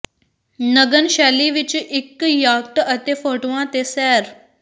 ਨਗਨ ਸ਼ੈਲੀ ਵਿੱਚ ਇੱਕ ਯਾਕਟ ਅਤੇ ਫੋਟੋਆਂ ਤੇ ਸੈਰ